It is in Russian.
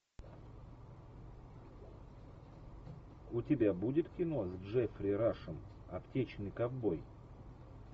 у тебя будет кино с джеффри рашем аптечный ковбой